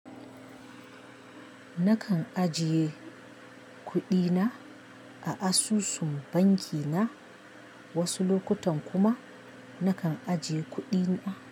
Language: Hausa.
Nakan ajiye kuɗina a asusun banki na, wasu lokutan kuma nakan ajiye kuɗi na.